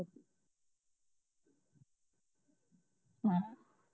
ਮੈਂ ਹਾ